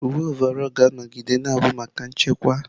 Uwe ọvaọlụ ga-anọgide na-abụ maka nchekwa